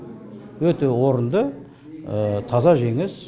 өте орынды таза жеңіс